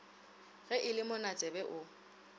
ge e le monatsebe o